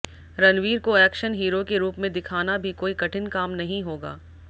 रणवीर को action hero के रूप में दिखाना भी कोई कठिन काम नहीं होगा